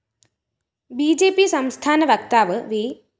B J P സംസ്ഥാന വക്താവ് V